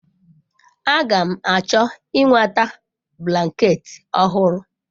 Agam achọ inweta blanketị ọhụrụ.